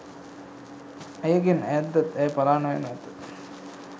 ඇයගෙන් අයැද්දත් ඇය පලා නොයනු ඇත.